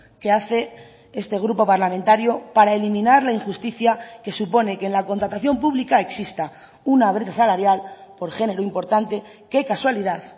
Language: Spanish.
que hace este grupo parlamentario para eliminar la injusticia que supone que en la contratación pública exista una brecha salarial por género importante que casualidad